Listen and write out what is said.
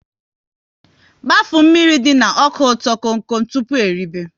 Gbafuo mmiri dị na ọka ụtọ kom kom tụpụ eribe!